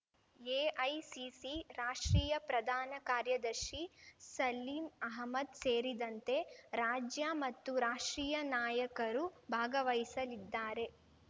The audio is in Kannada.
ಎಐಸಿಸಿ ರಾಷ್ಟ್ರೀಯ ಪ್ರಧಾನ ಕಾರ್ಯದರ್ಶಿ ಸಲೀಂ ಅಹ್ಮದ್ ಸೇರಿದಂತೆ ರಾಜ್ಯ ಮತ್ತು ರಾಷ್ಟ್ರೀಯ ನಾಯಕರು ಭಾಗವಹಿಸಲಿದ್ದಾರೆ